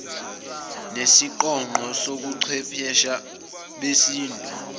nesiqonqo sobuchwephesha besintu